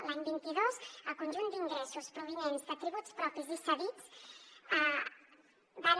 l’any vint dos el conjunt d’ingressos provinents de tributs propis i cedits van